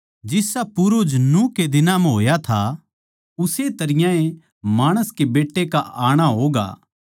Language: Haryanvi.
जिसा पूर्वज नूह के दिनां होया था उस्से तरियां ए माणस के बेट्टे का आणा होगा